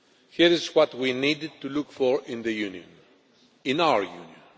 Here is what we needed to look for in the Union, in our Union.